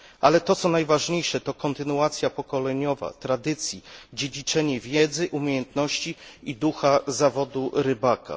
Ale to, co najważniejsze, to kontynuacja pokoleniowa tradycji, dziedziczenie wiedzy, umiejętności i ducha zawodu rybaka.